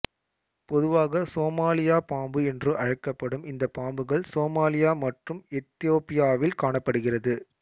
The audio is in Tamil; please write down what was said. பொதுவாக சோமாலியா பாம்பு என்று அழைக்கப்படும் இந்த பாம்புகள் சோமாலியா மற்றும் எத்தியோப்பியாவில் காணப்படுகிறது